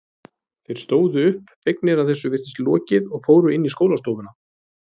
Þeir stóðu upp, fegnir að þessu virtist lokið og fóru inn í skólastofuna.